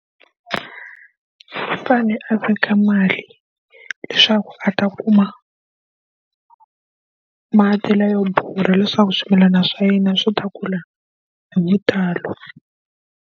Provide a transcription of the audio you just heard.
U fanele a fika mali leswaku a ta kuma mati la yo borha leswaku swimilana swa yena swi ta kula hi vutalo.